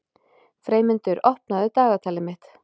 Freymundur, opnaðu dagatalið mitt.